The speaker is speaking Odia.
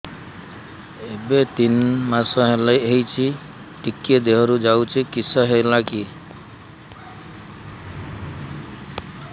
ଏବେ ତିନ୍ ମାସ ହେଇଛି ଟିକିଏ ଦିହରୁ ଯାଉଛି କିଶ ହେଲାକି